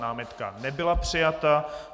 Námitka nebyla přijata.